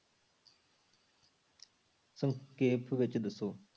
ਸੰਖੇਪ ਵਿੱਚ ਦੱਸੋ।